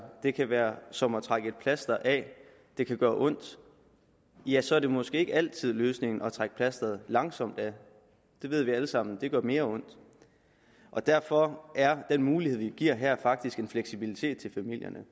det kan være som at trække et plaster af at det kan gøre ondt ja så er det måske ikke altid løsningen at trække plasteret langsomt af det ved vi alle sammen det gør mere ondt derfor er den mulighed vi giver her faktisk en fleksibilitet til familierne